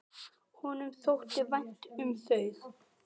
Honum þótti vænt um þau.